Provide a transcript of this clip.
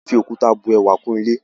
A fẹ́ fi òkúta bu ẹwà kún ilé